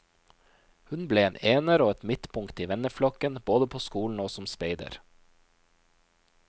Hun ble en ener og et midtpunkt i venneflokken, både på skolen og som speider.